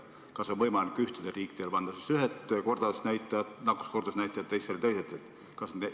Kas on võimalik ühtedele riikidele panna ühed nakkuskordajad ja teistele teised?